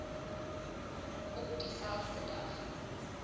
op dieselfde dag